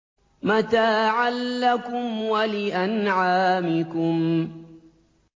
مَّتَاعًا لَّكُمْ وَلِأَنْعَامِكُمْ